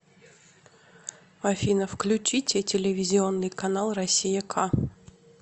афина включите телевизионный канал россия к